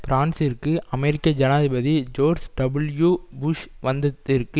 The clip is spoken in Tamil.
பிரான்சிற்கு அமெரிக்க ஜனாதிபதி ஜோர்ஜ் டபுள்யூபுஷ் வந்ததிற்கு